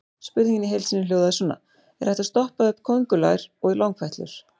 Spurningin í heild sinni hljóðaði svona: Er hægt að stoppa upp köngulær og langfætlur?